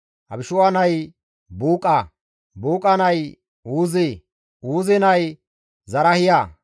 Abishu7a nay Buuqa; Buuqa nay Uuze; Uuze nay Zarahiya;